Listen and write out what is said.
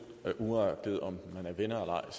venner og